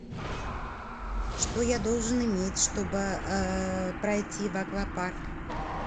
что я должен иметь чтобы пройти в аквапарк